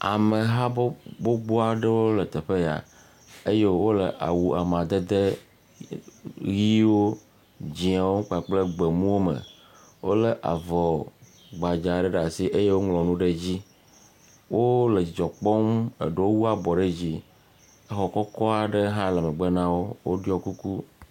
Ameha gbogbo aɖe le teƒe ya eye wole awu amadede ʋiwo dzɛwo kple gbemuwo me. Wole avɔ gbadza ɖe asi eye woŋlɔ nu ɖe wo me. Wo wu abɔ ɖe dzi. Exɔ kɔkɔ aɖe le megbe do me na wo